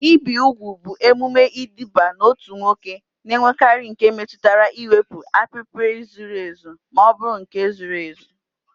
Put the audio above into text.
Ibi úgwù bụ emume iduba n'otu nwoke na-enwekarị nke metụtara iwepụ apịpị zuru ezu ma ọ bụ nke zuru ezu.